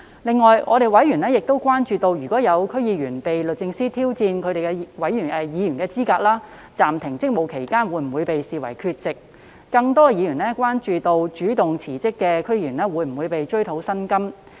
此外，委員亦關注到，若有區議員被律政司司長挑戰其議員資格，在暫停職務期間會否被視為缺席；更多委員關注主動辭職的區議員會否被追討薪酬。